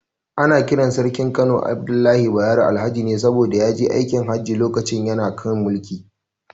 Ana kiran Sarkin Kano Abdullahi Bayero, Alhaji ne saboda ya je aikin Hajji lokacin yana kan mulki.